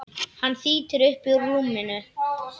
Hann þýtur upp úr rúminu.